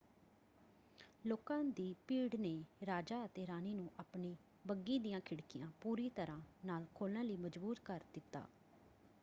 ਲੋਕਾਂ ਦੀ ਭੀੜ ਨੇ ਰਾਜਾ ਅਤੇ ਰਾਣੀ ਨੂੰ ਆਪਣੀ ਬੱਘੀ ਦੀਆਂ ਖਿੜਕੀਆਂ ਪੂਰੀ ਤਰ੍ਹਾਂ ਨਾਲ ਖੋਲ੍ਹਣ ਲਈ ਮਜਬੂਰ ਕਰ ਦਿੱਤਾ।